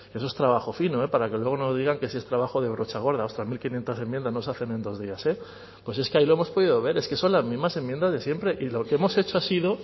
eso es trabajo fino para que luego no digan que si es trabajo de brocha gorda ostras mil quinientos enmiendas no se hacen en dos días eh pues que ahí lo hemos podido ver es que son las mismas enmiendas de siempre y lo que hemos hecho ha sido